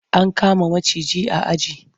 An kama maciji a aji.